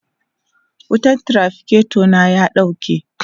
wutan traficator na ya ɗauke